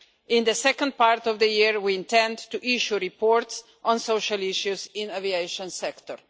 In the second part of the year, we intend to issue reports on social issues in the aviation sector.